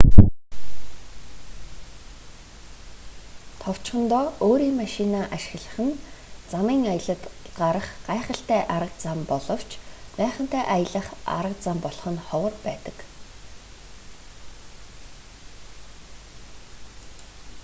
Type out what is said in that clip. товчхондоо өөрийн машинаа ашиглах нь замын аялалд гарах гайхалтай арга зам боловч майхантай аялах арга зам болох нь ховор байдаг